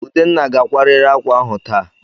Udenna ga-akwarịrị ákwà ahụ taa!